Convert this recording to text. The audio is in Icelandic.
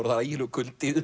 það er ægilegur kuldi